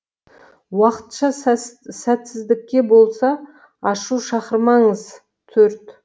уақытша сәтсіздікке бола ашу шақырмаңыз төрт